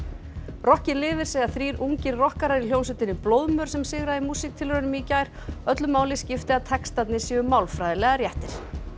rokkið lifir segja þrír ungir rokkarar í hljómsveitinni blóðmör sem sigraði í músíktilraunum í gær öllu máli skipti að textarnir séu málfræðilega réttir